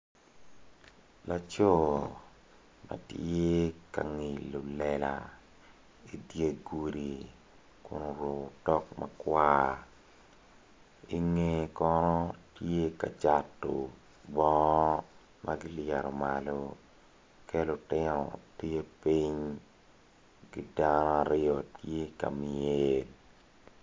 Laco ma tye ka ngilo lela idye gudi kun oruko otok makwar inge kono tye ka cato bongo ma kilyero malo ki lutino tye piny ki dano aryo tye ka myel.